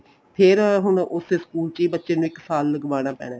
ਫੇਰ ਹੁਣ ਉਸੀ school ਚ ਹੀ ਬੱਚੇ ਨੂੰ ਇੱਕ ਸਾਲ ਲਗਵਾਨਾ ਪੈਣਾ